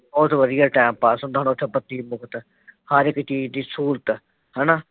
ਹਰ ਇੱਕ ਚੀਜ਼ ਦੀ ਸਹੂਲਤ ਹੈ ਨਾ। ਬਹੁਤ ਵਧੀਆ ਟਾਇਮ ਪਾਸ ਹੁੰਦਾ ਹੁਣ ਉੱਥੇ ਬੱਤੀ ਮੁਫ਼ਤ